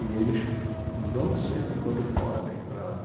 E eles vão sempre quando podem para lá.